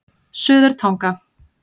Suðurtanga